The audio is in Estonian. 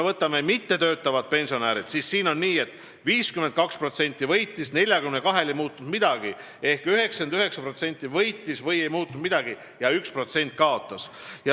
Võtame mittetöötavad pensionärid: 52% võitis, 42%-l ei muutunud midagi ehk 99% võitis või neil ei muutunud midagi ja 1% kaotas.